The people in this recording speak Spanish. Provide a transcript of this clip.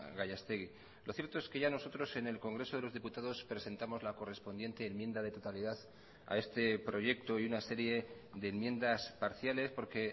gallastegi lo cierto es que ya nosotros en el congreso de los diputados presentamos la correspondiente enmienda de totalidad a este proyecto y una serie de enmiendas parciales porque